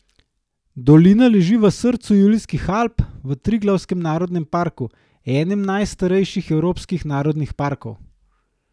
Dolina leži v srcu Julijskih Alp, v Triglavskem narodnem parku, enem najstarejših evropskih narodnih parkov.